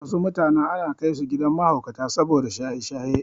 Wasu mutanen ana kaisu gidan mahaukata saboda shaye-shaye.